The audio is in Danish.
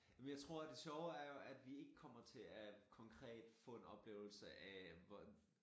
Jamen jeg tror det sjove er jo at vi ikke kommer til at konkret få en oplevelse af hvor